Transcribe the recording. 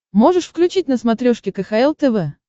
можешь включить на смотрешке кхл тв